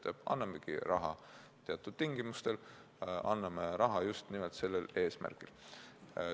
Me annamegi raha teatud tingimustel, anname raha just nimelt sellel eesmärgil.